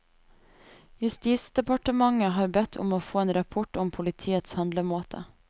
Justisdepartementet har bedt om å få en rapport om politiets handlemåte.